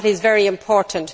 That is very important.